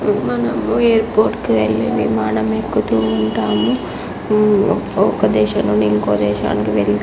మనము airport కి వెళ్ళి విమానం ఎక్కుతూ ఉంటాము. ఒక దేశం నుండి ఇంకో దేశం వెళ్తాము.